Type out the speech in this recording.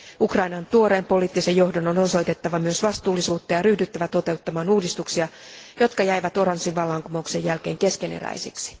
Ukrainan tuoreen poliittisen johdon on osoitettava myös vastuullisuutta ja ryhdyttävä toteuttamaan uudistuksia, jotka jäivät oranssin vallankumouksen jälkeen keskeneräisiksi.